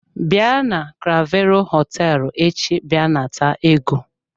Bịa na clavero hoteelu echi bia nata ego.